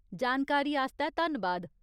जानकारी आस्तै धन्नबाद।